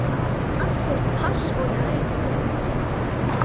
Allir pass og lauf út.